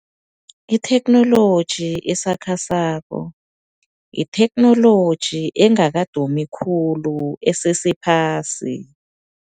Itheknoloji esakhasako yitheknoloji engakadumi khulu esesephasi.